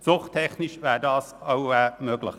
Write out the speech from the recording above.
Zuchttechnisch wäre das auch möglich.